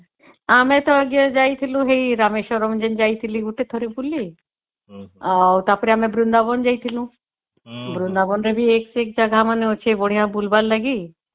ଆମେ ତା ଆଂଜ୍ଞା ଯାଇଥିଲୁ ରାମେଶ୍ୱରମ ଯାଇଥିଲି ଥରେ ଗୋଟେ ବୁଲି ଆଉ ତା ପରେ ବୃନ୍ଦାବନ ଯାଇଥିଲୁ ବୃନ୍ଦାବନ ରେ ବି ଏକ ସେ ଏକ ଜାଗା ମନ ଅଛି ବୁଲିବାର ଲାଗି